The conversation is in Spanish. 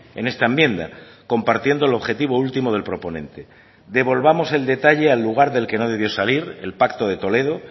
en esta enmienda compartiendo el objetivo último del proponente devolvamos el detalle al lugar del que no debió salir el pacto de toledo